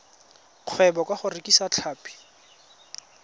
kgwebo ka go rekisa tlhapi